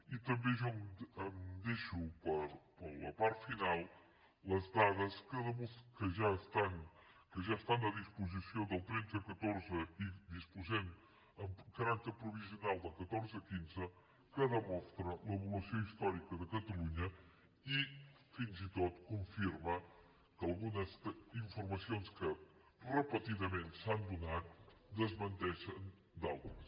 i també jo em deixo per a la part final les dades que ja estan a disposició del tretze catorze i disposem amb caràcter provisional del catorze quinze que demostren l’evolució històrica de catalunya i fins i tot confirmen algunes informacions que repetidament s’han donat i en desmenteixen d’altres